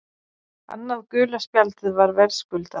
Annað gula spjaldið var verðskuldað.